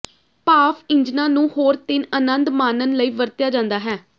ਭਾਫ ਇੰਜਣਾਂ ਨੂੰ ਹੋਰ ਤਿੰਨ ਅਨੰਦ ਮਾਣਨ ਲਈ ਵਰਤਿਆ ਜਾਂਦਾ ਹੈ